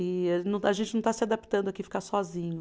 E a gente não está se adaptando aqui ficar sozinho.